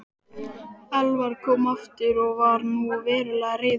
Elvar kom aftur og var nú verulega reiður.